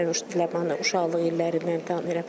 Mən Ləmanı uşaqlıq illərindən tanıyıram.